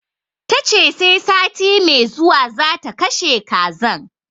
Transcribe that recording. Tace sai sati mai zuwa zata kashe kazan